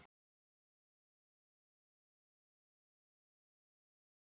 En stelpurnar minna hana á hann aftur.